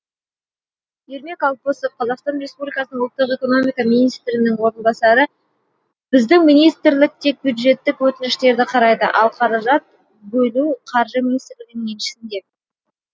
ермек алпысов қазақстан ресмпубликасының ұлттық экономика министрінің орынбасары біздің министрлік тек бюджеттік өтініштерді қарайды ал қаражат бөлу қаржы министрлігінің еншісінде